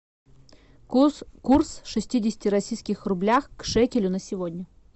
курс курс шестидесяти российских рублях к шекелю на сегодня